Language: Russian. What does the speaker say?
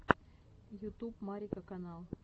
ютуб марика канал